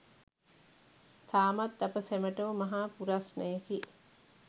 තාමත් අප සැමටම මහා පුරස්නයකි